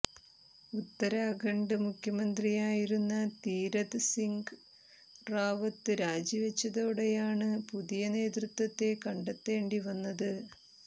ഉത്തരാഖണ്ഡ് മുഖ്യമന്ത്രിയായിരുന്ന തീരഥ് സിംഗ് റാവത്ത് രാജിവെച്ചതോടെയാണ് പുതിയ നേതൃത്വത്തെ കണ്ടെത്തേണ്ടി വന്നത്